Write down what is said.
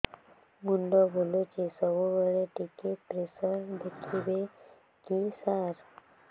ମୁଣ୍ଡ ବୁଲୁଚି ସବୁବେଳେ ଟିକେ ପ୍ରେସର ଦେଖିବେ କି ସାର